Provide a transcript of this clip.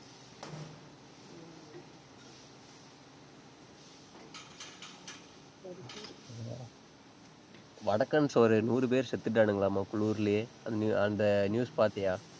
வடக்கன்ஸ் ஒரு நூறு பேர் செத்துட்டானுங்களாமா, குளுர்லயே. அந்த new~ அந்த news பாத்தியா?